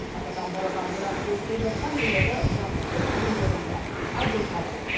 атадан балаға мирас болып келе жатқан өнерді жаңғыртып жүргендердің бірі айдос садықов